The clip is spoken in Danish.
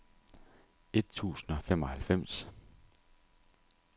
et tusind og femoghalvfems